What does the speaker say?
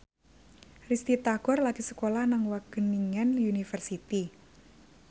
Risty Tagor lagi sekolah nang Wageningen University